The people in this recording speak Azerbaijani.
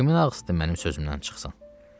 Kimin ağzı mənim sözümdən çıxsın.